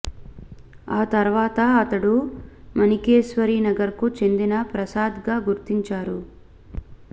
ఆ తర్వాత అతడు మాణికేశ్వరి నగర్ కు చెందిన ప్రసాద్ గా గుర్తించారు